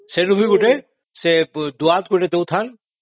ସେ ରୁମରେ ଗୋଟେ ଦୁଆତ ଦେଉଥାନ୍ତି